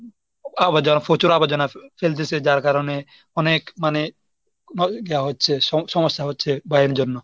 আবর্জনা প্রচুর আবর্জনা ফেলতেসে যার কারণে অনেক মানে ভাবে দেওয়া হচ্ছে সমস্যা হচ্ছে বা এর জন্য।